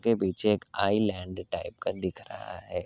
के पीछे एक आइलेन्ड़ टाइप का दिख रहा है।